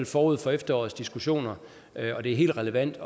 forud for efterårets diskussioner er det helt relevant at